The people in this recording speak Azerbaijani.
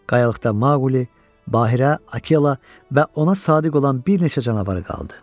Qayalıqda Maquli, Bahira, Akela və ona sadiq olan bir neçə canavar qaldı.